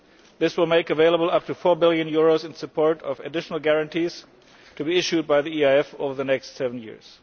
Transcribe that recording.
This will make up to EUR4 billion available in support of additional guarantees to be issued by the EIF over the next seven years.